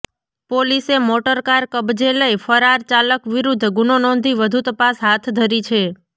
પોલીસે મોટરકાર કબજે લઈ ફરાર ચાલક વિરૃધ્ધ ગુનો નોંધી વધુ તપાસ હાથ ધરી છે